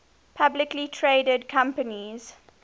publicly traded companies